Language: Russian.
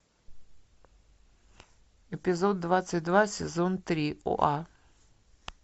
эпизод двадцать два сезон три оа